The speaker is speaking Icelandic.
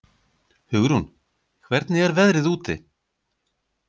Hugrún, hvernig er veðrið úti?